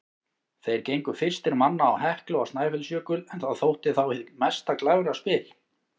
Þeir gengu fyrstir manna á Heklu og Snæfellsjökul, en það þótti þá hið mesta glæfraspil.